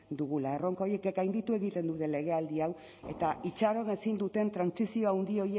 dugula erronka horiek gainditu egiten dute legealdi hau eta itxaron ezin duten trantsizio handi